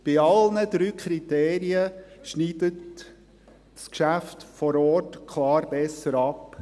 Bei allen drei Kriterien schneidet das Geschäft vor Ort klar besser ab.